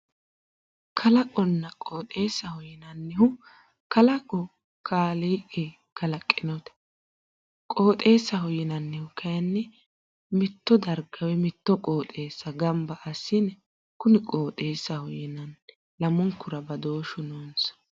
Kalaqonna qooxeessa yinannihu kalaqo kaaliiqi kalaqinote qooxeessaho yinanniti kayiinni mitto darga woy motto qooxeessa gamba assine kuni qooxeessaho yinanni lamunkura badooshshu noonsa.